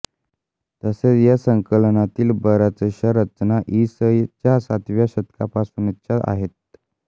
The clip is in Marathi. तसेच ह्या संकलनातील बऱ्याचशा रचना इ स च्या सातव्या शतकापासूनच्या आहेत